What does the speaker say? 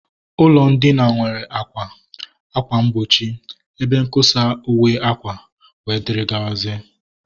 Ụlọ ndina nwere àkwà, ákwà mgbochi, ebe nkosa uwe akwa, and others